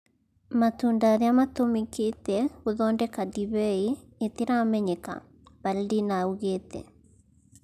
matunda arĩa matũmĩkĩte kũthondeka dibei ĩtiramenyeka Baldiner augite "